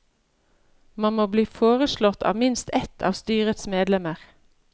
Man må bli foreslått av minst ett av styrets medlemmer.